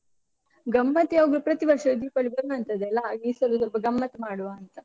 ಗಮ್ಮತ್ ಯಾವಾಗ್ಲು ಪ್ರತಿವರ್ಷ ದೀಪಾವಳಿ ಬರುವಂತ್ತದ್ ಅಲ್ಲ, ಹಾಗೆ ಈ ಸಲ ಸ್ವಲ್ಪ ಗಮ್ಮತ್ ಮಾಡುವ ಅಂತ.